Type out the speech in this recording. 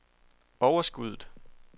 overskuddet